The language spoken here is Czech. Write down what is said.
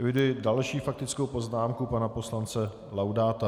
Eviduji další faktickou poznámku pana poslance Laudáta.